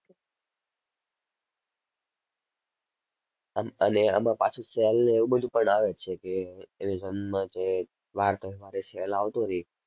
અમ અને આમાં પાછું sale ને એવું બધુ પણ આવે છે કે Amazon માં જે વાર તહેવારે sale આવતો રહે.